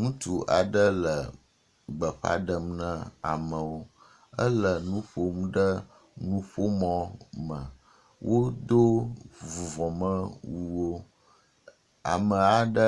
Ŋutsu aɖe le gbeƒã ɖem ne amewo. Ele nu ƒom ɖe nuƒomɔ me. Wodo wo vuvɔmewuwo ame aɖe